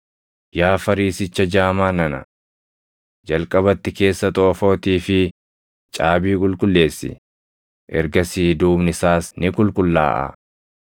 Yaa Fariisicha jaamaa nana! Jalqabatti keessa xoofootii fi caabii qulqulleessi; ergasii duubni isaas ni qulqullaaʼaa.